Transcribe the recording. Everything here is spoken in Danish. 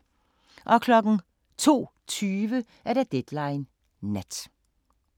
02:20: Deadline Nat